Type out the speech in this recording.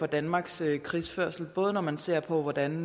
danmarks krigsførelse både når man ser på hvordan